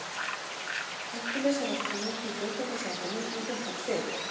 Hercules er aftur á móti í fjórtánda sætinu með fimmtán stig.